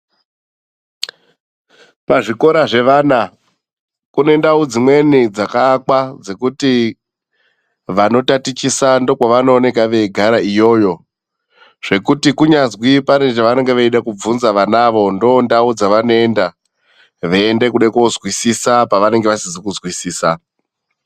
Pazvikora zvevana kune ndau dzimweni dzakaakwa dzekuti vanotatichisa ndokwavanooneka veigara iyoyo. Zvekuti kunyazwi pane zvavanenge veida kubvunza vanavo ndondau dzavanoenda veiende kuda kozwisisa pavanenge vasizi kuzwisisa.